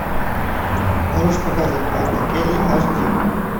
можешь показать банда келли аш ди